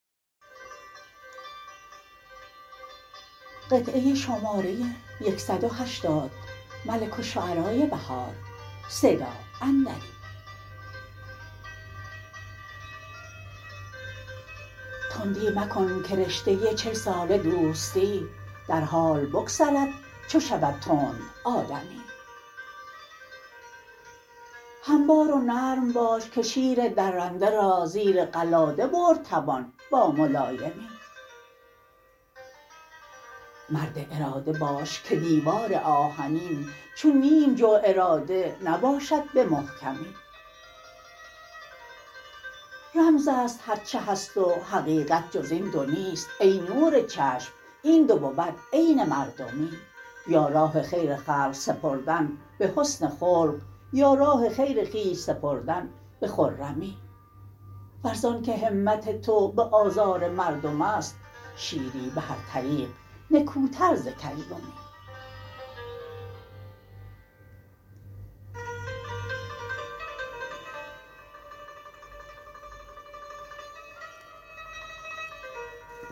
تندی مکن که رشته چل ساله دوستی در حال بگسلد چو شود تند آدمی هموار و نرم باش که شیر درنده را زیر قلاده برد توان با ملایمی مرد اراده باش که دیوار آهنین چون نیم جو اراده نباشد به محکمی رمز است هرچه هست و حقیقت جز این دو نیست ای نور چشم این دو بود عین مردمی یا راه خیر خلق سپردن به حسن خلق یا راه خیر خویش سپردن به خرمی ور زان که همت تو به آزار مردمست شیری به هر طریق نکوتر ز کژدمی